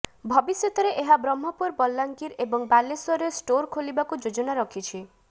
ଭବିଷ୍ୟତରେ ଏହା ବ୍ରହ୍ମପୁର ବଲାଙ୍ଗୀର ଏବଂ ବାଲେଶ୍ବରରେ ଷ୍ଟୋର୍ ଖୋଲିବାକୁ ଯୋଜନା ରଖିଛି